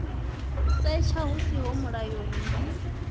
setsha hu siho mulayoni ndi